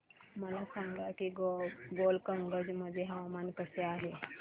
मला सांगा की गोलकगंज मध्ये हवामान कसे आहे